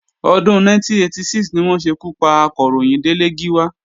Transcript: Ọdún 1986 ni wọ́n ṣekú pa Akọ̀ròyìn Délé Gíwá